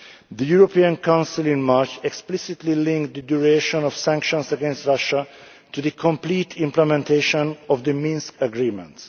The European Council in March explicitly linked the duration of sanctions against Russia to the complete implementation of the Minsk agreements.